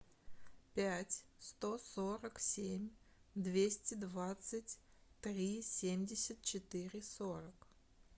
пять сто сорок семь двести двадцать три семьдесят четыре сорок